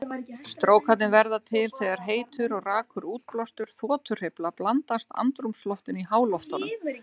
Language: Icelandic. Strókarnir verða til þegar heitur og rakur útblástur þotuhreyfla blandast andrúmsloftinu í háloftunum.